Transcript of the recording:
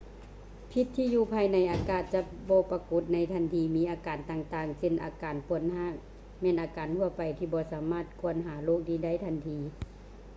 ພິດທີ່ຢູ່ພາຍໃນອາດຈະບໍ່ປາກົດໃນທັນທີ ມີອາການຕ່າງໆເຊັ່ນວ່າ ອາການປວດຮາກແມ່ນອາການທົ່ວໄປທີ່ບໍ່ສາມາດກວດຫາໂຣກນີ້ໄດ້ທັນທີ